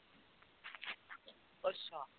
ਅੱਛਾ।